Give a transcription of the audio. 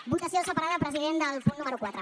votació separada president del punt número quatre